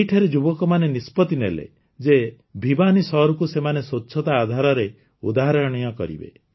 ଏଠିକାର ଯୁବକମାନେ ନିଷ୍ପତ୍ତି ନେଲେ ଯେ ଭିବାନୀ ସହରକୁ ସେମାନେ ସ୍ୱଚ୍ଛତା ଆଧାରରେ ଉଦାହରଣୀୟ କରିବେ